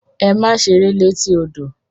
Ẹ̀mà sẹ̀rẹ̀ lẹ̀tí ọdọ!